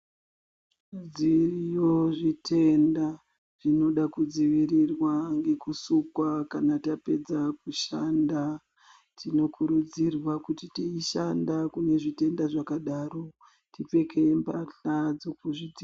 Dziriyo zvitenda ,zvinoda kudzivirirwa ngekusukwa kana tapedza kushanda. Tinokurudzirwa kuti teishanda kune zvitenda zvakadaro, tipfeke mbahla dzokuzvidzi...